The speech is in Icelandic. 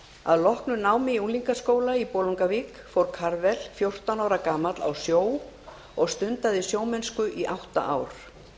að loknu námi í unglingaskóla í bolungarvík fór karvel fjórtán ára gamall á sjó og stundaði sjómennsku í átta ár